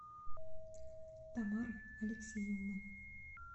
тамары алексеевны